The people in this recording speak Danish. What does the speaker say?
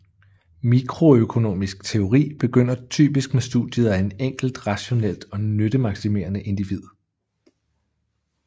Mikroøkonomisk teori begynder typisk med studiet af et enkelt rationelt og nyttemaksimerende individ